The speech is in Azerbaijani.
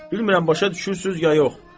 Bilmirəm başa düşürsüz ya yox.